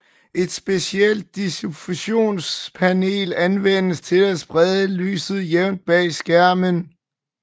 Et specielt diffusionspanel anvendes til at sprede lyset jævnt bag skærmen